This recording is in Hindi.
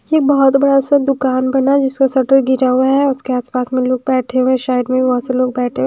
यह बहुत बड़ा सा दुकान बना है जिसका शटर गिरा हुआ है उसके आसपास में लोग बैठे हुए हैं साइड में भी बहुत से लोग बैठे--